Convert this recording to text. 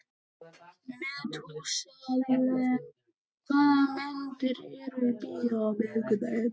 Methúsalem, hvaða myndir eru í bíó á miðvikudaginn?